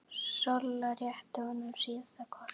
Solla rétti honum síðasta kort.